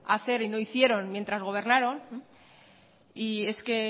hacer y no hicieron mientras gobernaron y es que